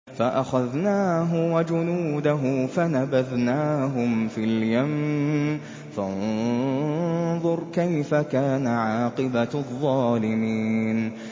فَأَخَذْنَاهُ وَجُنُودَهُ فَنَبَذْنَاهُمْ فِي الْيَمِّ ۖ فَانظُرْ كَيْفَ كَانَ عَاقِبَةُ الظَّالِمِينَ